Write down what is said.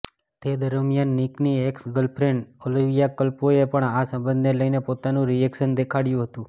તે દરમિયાન નિકની એક્સ ગર્લફ્રેન્ડ ઓલીવિયા કલ્પોએ પણ આ સંબધને લઇને પોતાનું રિએક્શન દેખાળ્યું હતું